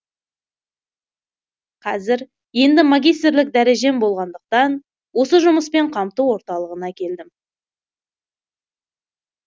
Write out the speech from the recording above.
қазір енді магистрлік дәрежем болғандықтан осы жұмыспен қамту орталығына келдім